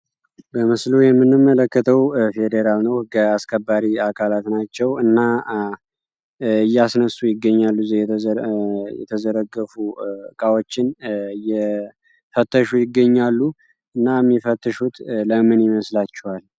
በምስሎ የምንም መለከተው ፌዴራል ነዑሕጋይ አስከባሪ አካላት ናቸው እና እያስነሱ ይገኛሉ ዜ የተዘረገፉ ቃዎችን የፈተሹ ይገኛሉ እና የሚፈተሹት ለምን ይመስላቸዋል